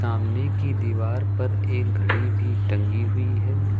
सामने की दीवार पर एक घड़ी भी टंगी हुई है।